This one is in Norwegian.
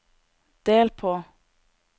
del på